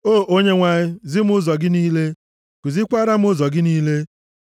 O Onyenwe anyị, zi m ụzọ gị niile, kuzikwaara m ụzọ gị niile.